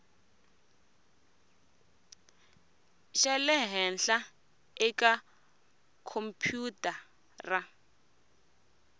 xa le henhla eka khompyutara